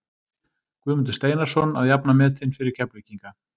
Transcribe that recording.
Guðmundur Steinarsson að jafna metin fyrir Keflvíkinga.